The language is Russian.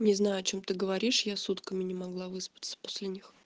не знаю о чём ты говоришь я сутками не могла выспаться после них